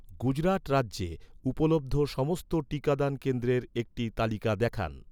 গুজরাট রাজ্যে, উপলব্ধ সমস্ত টিকাদান কেন্দ্রের একটি তালিকা দেখান